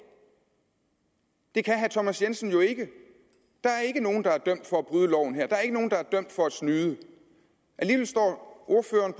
det kan herre thomas jensen jo ikke der er ikke nogen der er dømt for at bryde loven her der er ikke nogen der er dømt for at snyde alligevel står ordføreren